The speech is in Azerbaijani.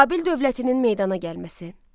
Babil dövlətinin meydana gəlməsi.